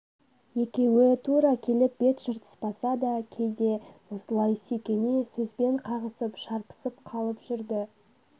екеуі тура келіп бет жыртыспаса да кейде осылай сүйкене сөзбен қағысып шарпысып қалып жүрді